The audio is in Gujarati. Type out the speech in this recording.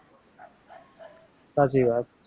સાચી વાત